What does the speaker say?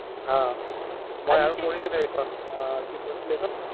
অহ্, মই আৰু পঢ়িছিলো সেইখন অ কি কৈছিলে সেইখন